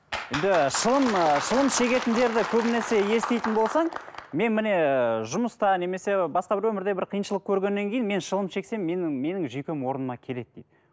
енді шылым шылым шегетіндерді көбінесе еститін болсаң мен міне жұмыста немесе басқа бір өмірде бір қиыншылық көргеннен кейін мен шылым шексем менің менің жүйкем менің орнына келеді дейді